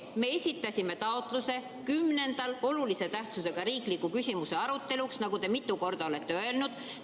Me esitasime taotluse olulise tähtsusega riikliku küsimuse aruteluks 10. juunil, nagu te mitu korda olete öelnud.